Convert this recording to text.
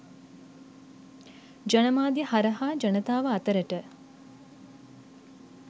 ජනමාධ්‍ය හරහා ජනතාව අතරට